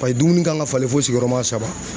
Paseke dumuni kan ka falen fo sigiyɔrɔma saba.